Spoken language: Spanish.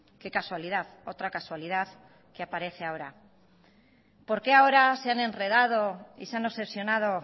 qué casualidad otra casualidad que aparece ahora por qué ahora se han enredado y se han obsesionado